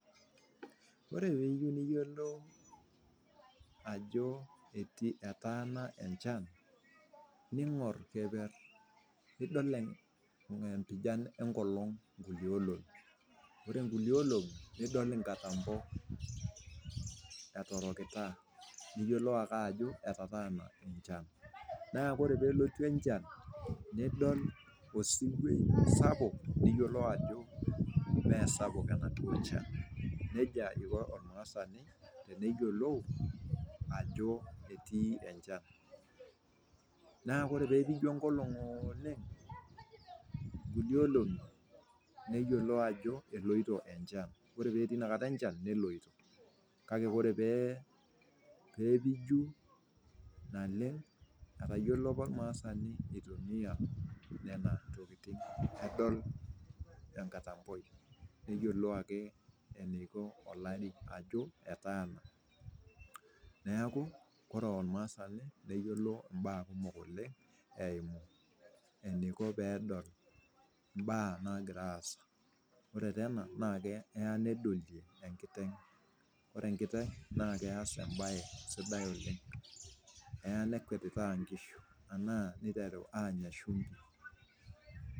Kore teniyeu niyolou ajoo etii etaana enchan, niing'or keper, niilang'lang' empijan enkolong nkule olong'i, ore nkule olong'i nidol nkatambo etorokita, niyolou ake ajo etataana enchan, naa kore peelotu enchan nidol esuwei sapuk, niyolou ake ajo mee sapuk ana nchan, neja aiko olmaasani teneyiolou ajo etii enchan. Naa kore peepiju enkolong ooleng' nkule olong'i niyolou ajo eloito enchan, ore petii inakata enchan neloito, kake kore pepiju naleng etalyiolo apa ilmaasani eitumiya nena tokitin adol enkatamboi, neyiolou ake eneiko olari ajo etaana neaku kore olmaasani neyiolo imbaa kumok oleng eimu eneiko peedol imbaa naagira aasa, ore taa ena naa keya nedolie enkiteng',kore enkiteng na keyas embaye sidai oleng, eya nekwet impaka nkishu anaa neitaru aanya ishumpi